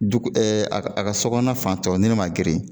Dugu ɛ a ka a ka sogɔnɔna fan tɔw ni nin ma geren.